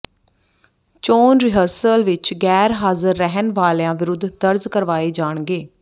ਚੋਣ ਰਿਹਰਸਲ ਵਿੱਚ ਗੈਰ ਹਾਜ਼ਰ ਰਹਿਣ ਵਾਲਿਆਂ ਵਿਰੁੱਧ ਦਰਜ਼ ਕਰਵਾਏ ਜਾਣਗੇ